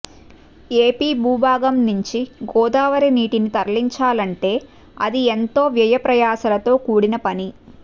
AP భూభాగం నుంచి గోదావరి నీటిని తరలించాలంటే అది ఎంతో వ్యయ ప్రయాసలతో కూడిన పని